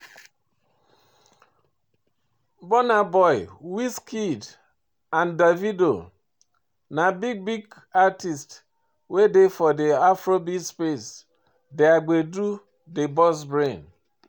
Burnaboy, Wizkid and Davido na big big artiste wey dey for di afrobeat space, their gbedu dey burst brain